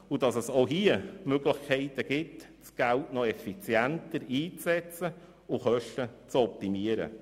Es gibt aber auch hier Möglichkeiten, Geld effizienter einzusetzen und Kosten zu optimieren.